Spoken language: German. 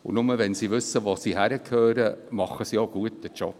Nur wenn sie wissen, wo sie hingehören, machen sie auch gute Arbeit.